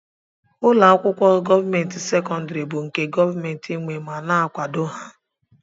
Ụlọakwụkwọ gọọmenti sekondari bụ nke gọọmenti nwé ma na akwado ha.